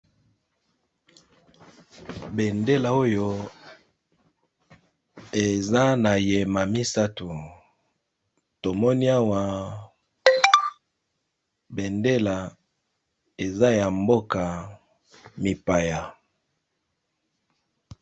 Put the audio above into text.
Bendela oyo eza na yema misato tomoni awa bendela eza ya mboka mipaya.